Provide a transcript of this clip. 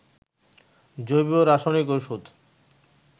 জৈব রাসায়নিক ঔষধ